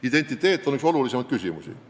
Identiteet on üks olulisimaid küsimusi.